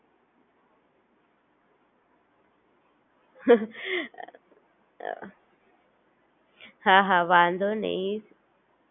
હા વાંધો નહિ, મેં તને સમજાવી આપું,